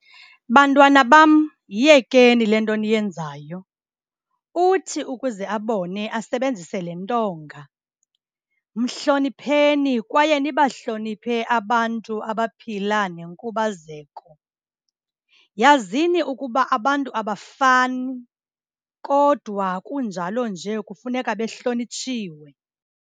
Bantwana bam, yiyekeni le nto niyenzayo. Uthi ukuze abone, asebenzise le ntonga, mhlonipheni kwaye nibahloniphe abantu abaphila nenkubazeko. Yazini ukuba abantu abafani kodwa kunjalo nje, kufuneka behlonitshiwe.